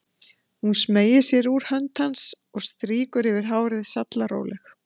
Hún smeygir sér út úr hönd hans og strýkur yfir hárið, sallaróleg.